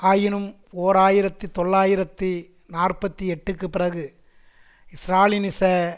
ஆயினும் ஓர் ஆயிரத்தி தொள்ளாயிரத்தி நாற்பத்தி எட்டுக்குப் பிறகு ஸ்ராலினிச